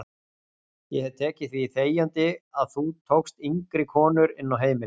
Ég hef tekið því þegjandi að þú tókst yngri konur inn á heimilið.